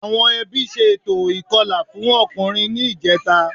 Àwọn ẹbí ṣe ètò ìkọlà fọ́kùnrin ní ìjẹta